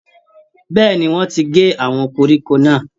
Bẹ́ẹ̀ ni, wọ́ọ́n ti gbé àwọn koríko náà